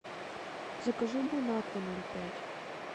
закажи бонакву ноль пять